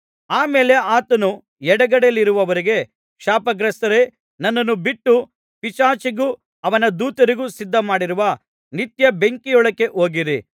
ಆ ಮೇಲೆ ಆತನು ಎಡಗಡೆಯಲ್ಲಿರುವವರಿಗೆ ಶಾಪಗ್ರಸ್ತರೇ ನನ್ನನ್ನು ಬಿಟ್ಟು ಪಿಶಾಚಿಗೂ ಅವನ ದೂತರಿಗೂ ಸಿದ್ಧಮಾಡಿರುವ ನಿತ್ಯ ಬೆಂಕಿಯೊಳಕ್ಕೆ ಹೋಗಿರಿ